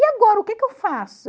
E agora, o que é que eu faço?